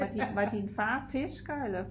var din far fisker eller?